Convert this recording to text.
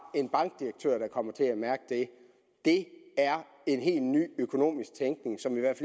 en bankdirektør der kommer til at mærke det er en helt ny økonomisk tænkning som i hvert